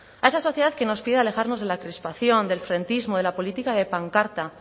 a esa sociedad que nos pide alejarnos de la crispación del frentismo de la política de pancarta